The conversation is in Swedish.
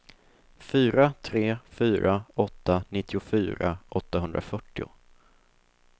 fyra tre fyra åtta nittiofyra åttahundrafyrtio